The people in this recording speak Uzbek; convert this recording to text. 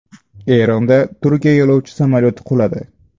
Eronda Turkiya yo‘lovchi samolyoti quladi.